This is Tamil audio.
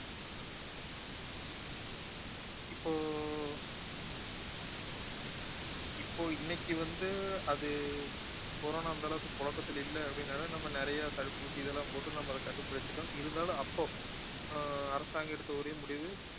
இப்போ இப்போ இன்னைக்கு வந்து அது corona அந்தளவுக்கு புழக்கத்துல இல்ல அப்படினாலும் நம்ம நிறைய தடுப்பூசி இதெல்லாம் போட்டு நம்ம அதை கட்டுப்படுத்திட்டோம் இருந்தாலும் அப்போ அஹ் அரசாங்கம் எடுத்த ஒரே முடிவு